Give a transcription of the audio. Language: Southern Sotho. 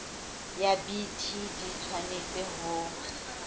ya bt di tshwanetse ho